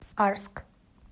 арск